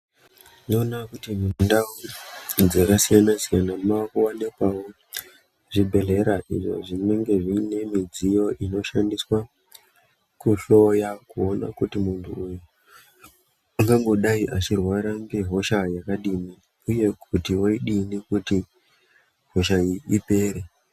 Ndoona kuti mundau dzakasiyana siyana makuwanikwawo zvibhedhleya zvinenge zviine midziyo inoshandiswe kuhloya kuona kuti muntu uyu ungangodai achirwara ngehosha yakadini uye kuti vodino kuti hosha iyi ipere.